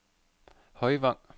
Højvang